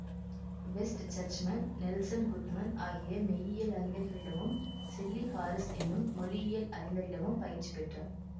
west Churchman Nelson Goodman ஆகிய மெய்யியல் அறிஞர்களிடமும் செல்லிக் ஹாரிஸ் என்னும் மொழியியல் அறிஞரிடமும் பயிற்சி பெற்றார்